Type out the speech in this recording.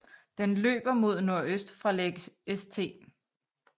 Den løber mod nordøst fra Lake St